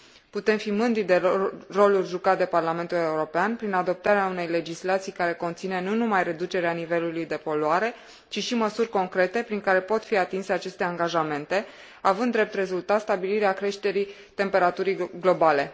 Putem fi mândri de rolul jucat de Parlamentul European prin adoptarea unei legislații care conține nu numai reducerea nivelului de poluare, ci și măsuri concrete prin care pot fi atinse aceste angajamente, având drept rezultat stabilirea creșterii temperaturii globale.